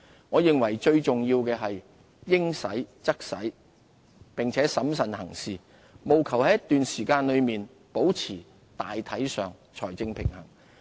我認為最重要是應使則使並審慎行事，務求在一段時間內保持大體上財政平衡。